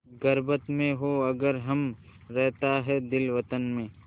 ग़ुर्बत में हों अगर हम रहता है दिल वतन में